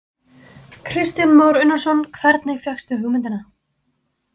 Kristján Már Unnarsson: Hvernig fékkstu hugmyndina?